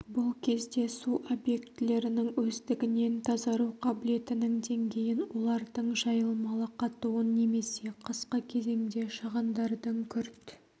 бұл кезде су объектілерінің өздігінен тазару қабілетінің деңгейін олардың жайылмалы қатуын немесе қысқы кезеңде шығындардың күрт